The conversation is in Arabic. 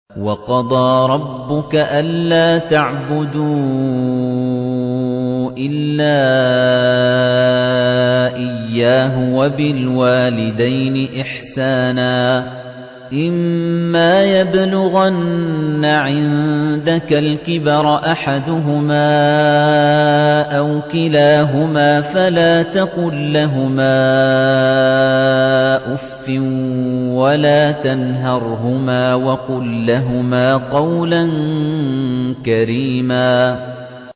۞ وَقَضَىٰ رَبُّكَ أَلَّا تَعْبُدُوا إِلَّا إِيَّاهُ وَبِالْوَالِدَيْنِ إِحْسَانًا ۚ إِمَّا يَبْلُغَنَّ عِندَكَ الْكِبَرَ أَحَدُهُمَا أَوْ كِلَاهُمَا فَلَا تَقُل لَّهُمَا أُفٍّ وَلَا تَنْهَرْهُمَا وَقُل لَّهُمَا قَوْلًا كَرِيمًا